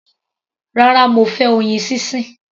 Rárá, mo fẹ́ oyin sísìn.